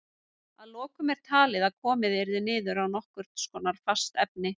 Að lokum er talið að komið yrði niður á nokkurs konar fast efni.